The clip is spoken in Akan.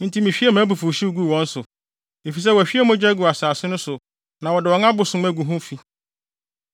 Enti mihwiee mʼabufuwhyew guu wɔn so, efisɛ wɔahwie mogya agu asase no so na wɔde wɔn abosom agu hɔ fi.